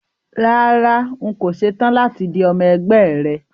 Rárá, n kò ṣe tán láti di ọmọ ẹgbẹ́ rẹ